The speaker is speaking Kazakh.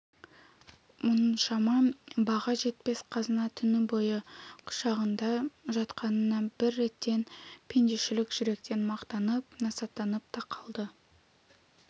мұншама баға жетпес қазына түні бойы құшағында жатқанына бір реттен пендешілік жүректен мақтанып насаттанып та қалды